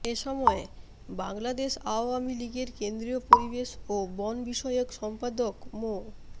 এ সময় বাংলাদেশ আওয়ামী লীগের কেন্দ্রীয় পরিবেশ ও বন বিষয়ক সম্পাদক মো